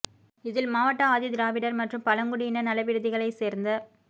இதில் மாவட்ட ஆதி திராவிடர் மற்றும் பழங்குடியினர் நல விடுதிகளை சேர்ந்த